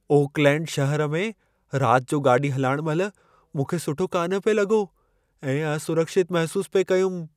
Oakland शहर में राति जो गाॾी हलाइणु महिल मूंखे सुठो कान पिए लॻो ऐं असुरक्षितु महिसूस पिए कयुमि ।